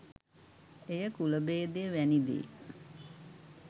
එය කුලභේදය වැනි දේ